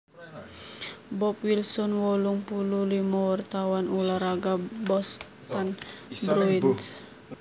Bob Wilson wolung puluh limo wartawan ulah raga Boston Bruins